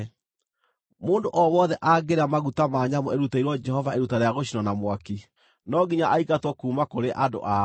Mũndũ o wothe angĩrĩa maguta ma nyamũ ĩrutĩirwo Jehova iruta rĩa gũcinwo na mwaki, no nginya aingatwo kuuma kũrĩ andũ ao.